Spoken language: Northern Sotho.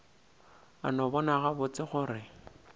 a no bona gabotse gore